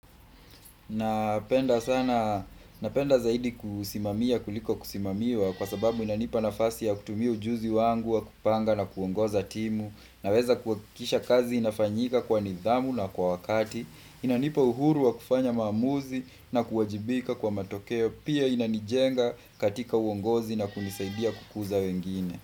Napenda zaidi kusimamia kuliko kusimamiwa kwa sababu inanipa nafasi ya kutumia ujuzi wangu wa kupanga na kuongoza timu Naweza kuwakisha kazi inafanyika kwa nidhamu na kwa wakati Inanipa uhuru wa kufanya mamuzi na kuwajibika kwa matokeo pia inanijenga katika uongozi na kunisaidia kukuza wengine.